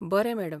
बरें मॅडम.